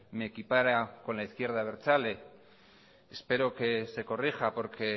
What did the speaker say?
me equipara con la izquierda abertzale espero que se corrija porque